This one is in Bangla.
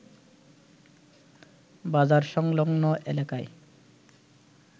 বাজার সংলগ্ন এলাকায়